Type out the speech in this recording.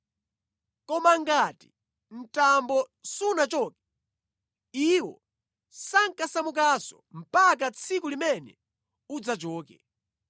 Koma ngati mtambo sunachoke, iwo sankasamukanso mpaka tsiku limene udzachoke.